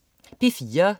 P4: